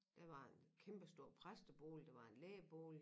Der var en kæmpestor præstebolig der var en lægebolig